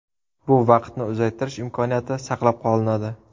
Bu vaqtni uzaytirish imkoniyati saqlab qolinadi.